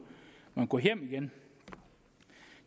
man gå hjem igen